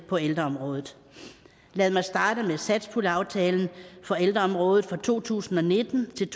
på ældreområdet lad mig starte med satspuljeaftalen for ældreområdet for to tusind og nitten til